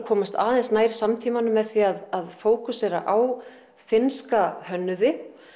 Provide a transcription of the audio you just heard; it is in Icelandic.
komast aðeins nær samtímanum með því að fókusera á finnska hönnuði